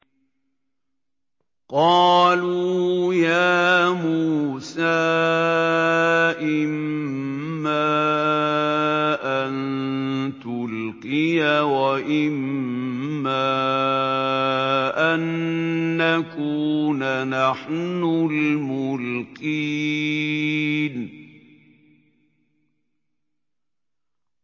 قَالُوا يَا مُوسَىٰ إِمَّا أَن تُلْقِيَ وَإِمَّا أَن نَّكُونَ نَحْنُ الْمُلْقِينَ